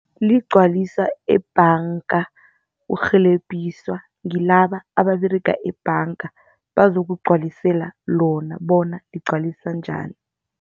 Ligcwaliswa ebhanga, urhelebhiswa ngilaba ababeraga ebhanga bazokugcwalisela lona bona ligcwaliswa njani.